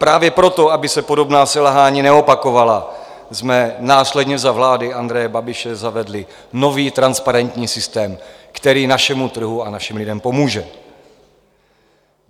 Právě proto, aby se podobná selhání neopakovala, jsme následně za vlády Andreje Babiše zavedli nový transparentní systém, který našemu trhu a našim lidem pomůže.